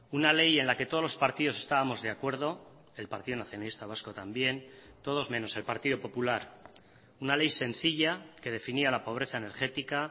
una ley en la que todos los partidos estábamos de acuerdo el partido nacionalista vasco también todos menos el partido popular una ley sencilla que definía la pobreza energética